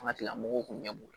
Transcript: An ka tigilamɔgɔw kun ɲɛ b'u la